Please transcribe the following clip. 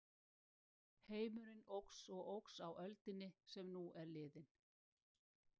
Heimurinn óx og óx á öldinni sem nú er liðin.